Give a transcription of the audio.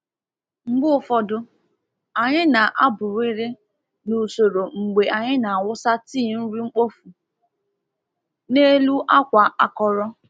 Mgbe ụfọdụ, anyị na-abụrịrị n’usoro mgbe anyị na-awụsa tii nri mkpofu n’elu akwa akọrọ.